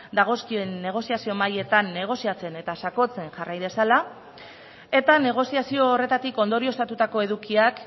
dagozkien negoziazio mahaietan negoziatzen eta sakontzen jarrai dezala eta negoziazio horretatik ondorioztatutako edukiak